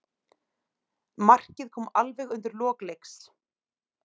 Markið kom alveg undir lok leiks.